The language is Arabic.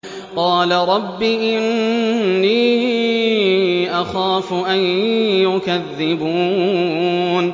قَالَ رَبِّ إِنِّي أَخَافُ أَن يُكَذِّبُونِ